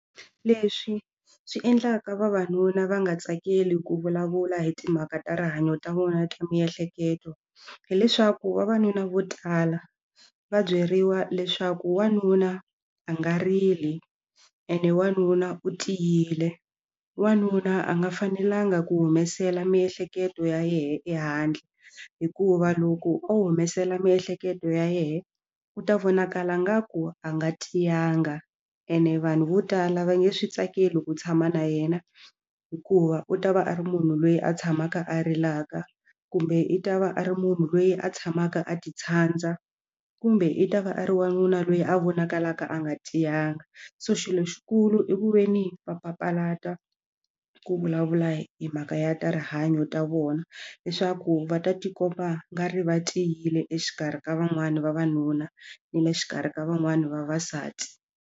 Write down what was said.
Leswi swi endlaka vavanuna va nga tsakeli ku vulavula hi timhaka ta rihanyo ta vona ta miehleketo hileswaku vavanuna vo tala va byeriwa leswaku wanuna a nga rili ene wanuna u tiyile wanuna a nga fanelanga ku humesela miehleketo ya yena ehandle hikuva loko o humesela miehleketo ya yena u ta vonakala ngaku a nga tiyanga ene vanhu vo tala va nge swi tsakeli ku tshama na yena hikuva u ta va a ri munhu loyi a tshamaka a rilaka kumbe i ta va a ri munhu loyi a tshamaka a ti tshandza kumbe i ta va a ri wanuna loyi a vonakalaka a nga tiyanga so xilo xikulu i ku ve ni va papalata ku vulavula hi mhaka ya ta rihanyo ta vona leswaku va ta tikomba ngari va tiyile exikarhi ka van'wani vavanuna ni le xikarhi ka van'wani vavasati.